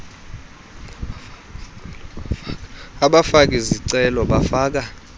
abafaki zicelo bafaka